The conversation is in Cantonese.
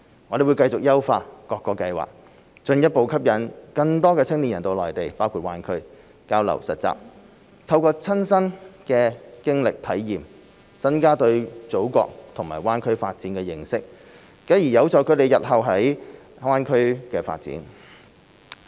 我們會繼續優化各個計劃，進一步吸引更多青年人到內地包括大灣區交流實習，透過親身的經歷體驗，增加對祖國和大灣區發展的認識，繼而有助他們日後在大灣區發展。